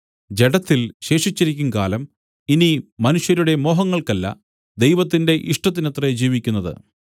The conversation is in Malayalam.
ജഡത്തിൽ ശേഷിച്ചിരിക്കുംകാലം ഇനി മനുഷ്യരുടെ മോഹങ്ങൾക്കല്ല ദൈവത്തിന്റെ ഇഷ്ടത്തിനത്രേ ജീവിക്കുന്നത്